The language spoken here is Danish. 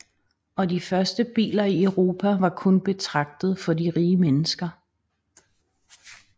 Og de første biler i Europa var kun betragtet for de rige mennesker